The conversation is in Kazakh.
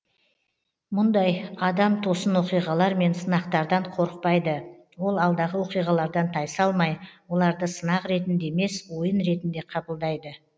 мұндай адам тосын оқиғалар мен сынақтардан қорықпайды ол алдағы оқиғалардан тайсалмай оларды сынақ ретінде емес ойын ретінде қабылдайды